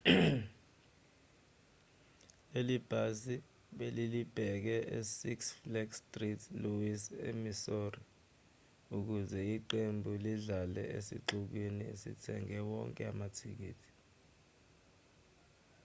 leli bhasi belilibheke e six flags st louis e-missouri ukuze iqembu lidlale esixukwini esithenge wonke amathikithi